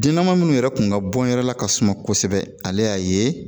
Denma minnu yɛrɛ kun ka bɔn yɛrɛ la kasuma kosɛbɛ ale y'a ye